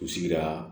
U sigira